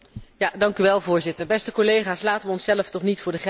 Voorzitter, beste collega's, laten we onszelf toch niet voor de gek houden.